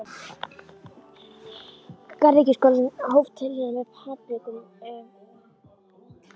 Garðyrkjuskólinn hóf tilraunir með papriku um